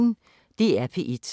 DR P1